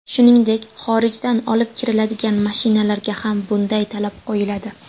Shuningdek, xorijdan olib kiriladigan mashinalarga ham bunday talab qo‘yiladi.